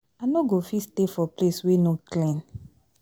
I no go fit stay for place wey no clean